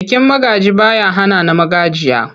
Bikin magaji ba ya hana na magajiya.